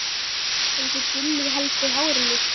en þið Gulli haldið hárinu.